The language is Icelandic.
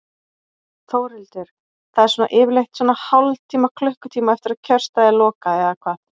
Þórhildur: Það er svona yfirleitt svona hálftíma, klukkutíma eftir að kjörstað er lokað eða hvað?